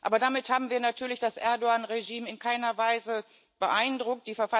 Aber damit haben wir natürlich das Erdoğan-Regime in keiner Weise beeindruckt.